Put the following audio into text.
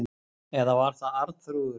Eða var það Arnþrúður?